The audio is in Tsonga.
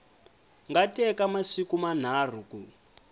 nga teka masiku manharhu ku